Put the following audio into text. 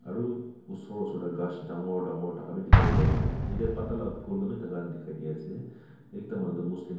aru usur usur de ghas dangor dangor thaka bi dikhai di ase yetey pata la phul khan bi thaka dikhai dee ase ekta manu to muslim --